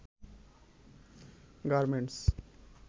garments